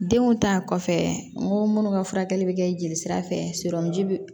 Denw ta kɔfɛ n ko munnu ka furakɛli bɛ kɛ jeli sira fɛ bi